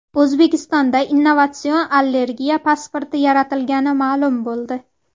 O‘zbekistonda innovatsion allergiya pasporti yaratilgani ma’lum bo‘ldi.